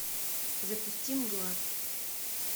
запусти мгла